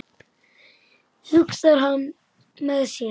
hugsar hann með sér.